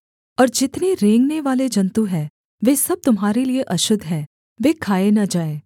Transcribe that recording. और जितने रेंगनेवाले जन्तु हैं वे सब तुम्हारे लिये अशुद्ध हैं वे खाए न जाएँ